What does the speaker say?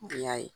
Y'a ye